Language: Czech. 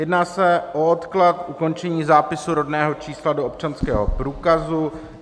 Jedná se o odklad ukončení zápisu rodného čísla do občanského průkazu.